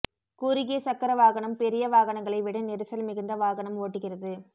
குறுகிய சக்கர வாகனம் பெரிய வாகனங்களை விட நெரிசல் மிகுந்த வாகனம் ஓட்டுகிறது